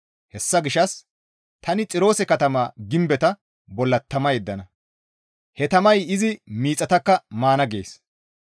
Hessa gishshas tani Xiroose katama gimbeta bolla tama yeddana; he tamay izi miixataka maana» gees.